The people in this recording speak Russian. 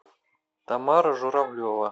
тамара журавлева